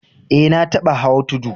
Eh, na tabba hau tudu.